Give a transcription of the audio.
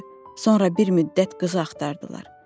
Sonra bir müddət qızı axtardılar.